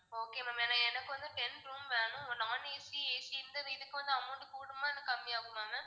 okay ma'am ஏன்னா எனக்கு வந்து ten room வேணும் non ACAC இந்த வீட்டுக்கு வந்து amount கூடுமா இன்னும் கம்மியாகுமா ma'am